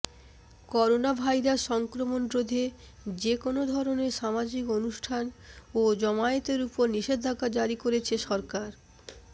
coronavirus সংক্রমণ রোধে যে কোনো ধরনের সামাজিক অনুষ্ঠান ও জমায়েতের ওপর নিষেধাজ্ঞা জারি করেছে সরকার